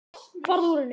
Farðu úr henni.